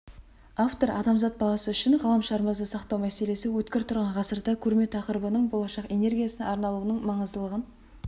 автор адамзат баласы үшін ғаламшарымызды сақтау мәселесі өткір тұрған ғасырда көрме тақырыбының болашақ энергиясына арналуының маңыздылығын